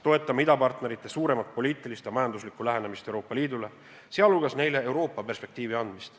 Toetame idapartnerite suuremat poliitilist ja majanduslikku lähenemist Euroopa Liidule, sh neile Euroopa Liidu perspektiivi andmist.